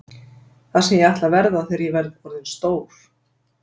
Það sem ég ætla að verða þegar ég verð orðinn stór; D